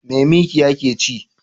Me mikiya ke ci?